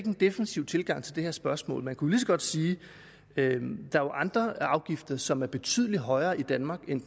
en defensiv tilgang til det her spørgsmål man kunne så godt sige at der er andre afgifter som er betydelig højere i danmark end